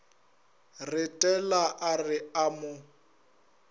retela a re a mo